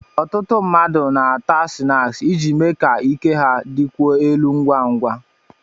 Ọtụtụ ndị mmadụ na-àtá sịnáksi iji mee ka ike ha dịkwuo elu ngwa ngwa